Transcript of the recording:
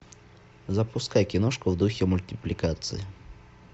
запускай киношку в духе мультипликации